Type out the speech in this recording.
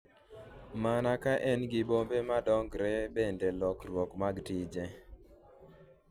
mana ka en gi bombe ma dongore kendo lokruok mag tije